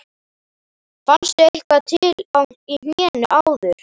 Fannstu eitthvað til í hnénu áður?